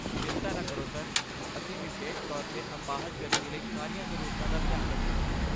ਚਿੰਤਾ ਨਾ ਕਰੋ, ਸਰ, ਅਸੀਂ ਵਿਸ਼ੇਸ਼ ਤੌਰ 'ਤੇ ਅਪਾਹਜ ਵਿਅਕਤੀ ਲਈ ਸਾਰੀਆਂ ਜ਼ਰੂਰਤਾਂ ਦਾ ਧਿਆਨ ਰੱਖਾਂਗੇ।